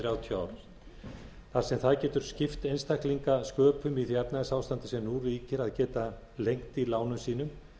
þrjátíu ár þar sem það getur skipt einstaklinga sköpum í því efnahagsástandi sem nú ríkir að geta lengt í lánum sínum